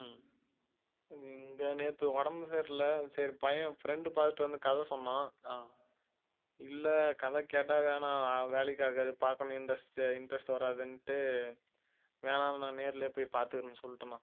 இங்க நேத்து உடம்பு சரியில்லை சரி பையன் friend பார்த்துட்டு வந்து கதை சொன்னான் இல்லை கதை கேட்டால் வேணா வேலைக்கு ஆகாது பார்க்கணும் interest interest வராதுன்னுட்டு வேணாம் நான் நேரிலேயே போய் பார்த்துக்கிறேன்னு சொல்லிட்டேன்ணா